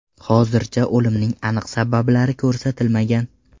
Hozircha o‘limning aniq sabablari ko‘rsatilmagan.